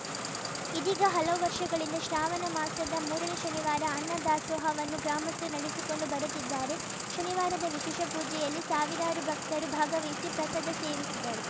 ಇದೀಗ ಹಲವು ವರ್ಷಗಳಿಂದ ಶ್ರಾವಣಮಾಸದ ಮೂರನೇ ಶನಿವಾರ ಅನ್ನದಾಸೋಹವನ್ನು ಗ್ರಾಮಸ್ಥರು ನಡೆಸಿಕೊಂಡು ಬರುತ್ತಿದ್ದಾರೆ ಶನಿವಾರದ ವಿಶೇಷ ಪೂಜೆಯಲ್ಲಿ ಸಾವಿರಾರು ಭಕ್ತರು ಭಾಗವಹಿಸಿ ಪ್ರಸಾದ ಸೇವಿಸಿದರು